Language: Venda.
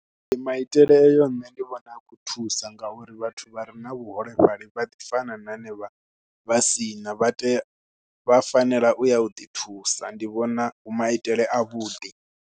Ndi maitele ayo nṋe ndi vhona a khou thusa ngauri vhathu vha re na vhuholefhali vha ḓi fana na henevha vha si na, vha tea, vha fanela u ya u ḓithusa ndi vhona hu maitele avhuḓi.